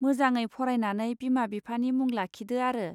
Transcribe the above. मोजाङै फरायनानै बिमा बिफानि मुं लाखिदो आरो!.